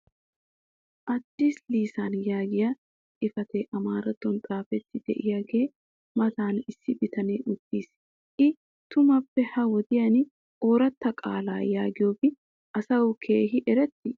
"addis lisan" yaagiya xifatee amaarattuwan xaafettidi diyaagaa matan issi bitanee uttis. i tumaaappe ha wodiyan ooratta qaala yaagiyoobi asawu keehi eretii?